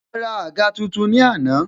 A ra àga tuntun ni àná